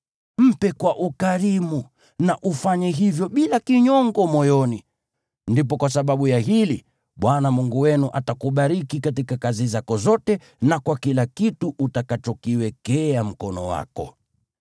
Mpe kwa ukarimu na ufanye hivyo bila kinyongo moyoni, ndipo kwa sababu ya hili Bwana Mungu wenu atakubariki katika kazi zako zote na kwa kila kitu utakachokiwekea mkono wako.